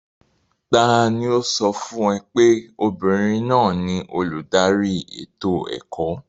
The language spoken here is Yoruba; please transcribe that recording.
Ta ni ó sọ fún ọ pé obìnrin náà ni olùdarí ètò ẹ̀kọ́?